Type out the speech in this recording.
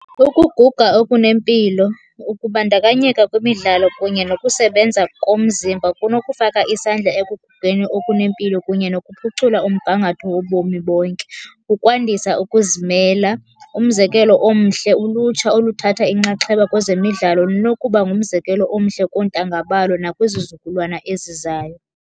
Ukuguga okunempilo, ukubandakanyeka kwimidlalo kunye nokusebenza komzimba kunokufaka isandla ekugugeni okunempilo kunye nokuphucula umgangatho wobomi bonke. Ukwandisa ukuzimela, umzekelo omhle ulutsha oluthatha inxaxheba kwezemidlalo lunokuba ngumzekelo omhle koontanga balo nakwizizukulwana ezizayo.